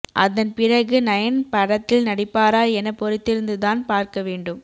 அதன் பிறகு நயன் படத்தில் நடிப்பாரா என பொறுத்திருந்துதான் பார்க்க வேண்டும்